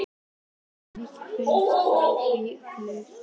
Hefur mikið breyst frá því þú byrjaðir?